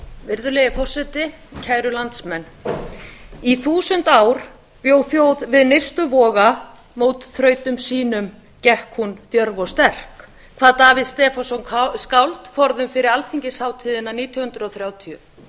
virðulegi forseti kæru landsmenn í þúsund ár bjó þjóð við nyrstu voga mót þrautum sínum gekk hún djörf og sterk kvað davíð stefánsson skáld forðum fyrir alþingishátíðina nítján hundruð þrjátíu